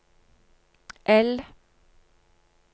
L